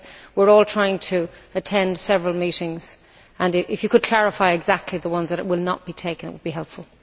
We are all trying to attend several meetings. If you could clarify exactly the ones that will not be taken, it would be helpful.